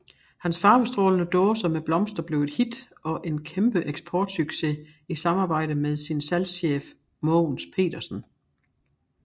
Hans farvestrålende dåser med blomster blev et hit og en kæmpe eksportsucces i samarbejde med sin salgschef Mogens Petersen